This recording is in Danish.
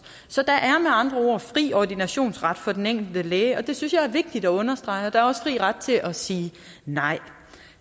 så der er med andre ord fri ordinationsret for den enkelte læge og det synes jeg er vigtigt at understrege og der er også fri ret til at sige nej